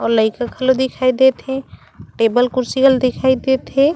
अउ लइका खेलत दिखाई देत हे टेबल कुर्सी घलो दिखाई देत हे।